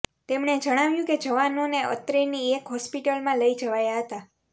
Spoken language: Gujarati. તેમણે જણાવ્યું કે જવાનોને અત્રેની એક હોસ્પિટલમાં લઇ જવાયા હતા